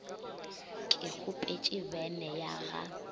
ke kgopetše bene ya ga